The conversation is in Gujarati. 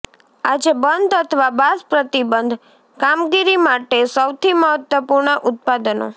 આજે બંધ અથવા બાઝ પ્રતિબિંબ કામગીરી માટે સૌથી મહત્વપૂર્ણ ઉત્પાદનો